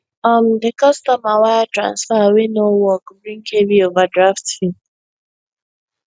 um di customer wire transfer wey no work bring heavy overdraft fee